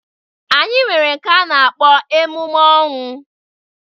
Anyị nwere nke a na-akpọ emume ọnwụ.